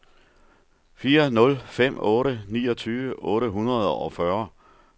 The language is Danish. fire nul fem otte niogtyve otte hundrede og fyrre